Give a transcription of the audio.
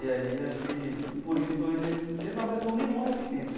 E aí acho que, por isso, ele ele não apresentou nenhuma resistência.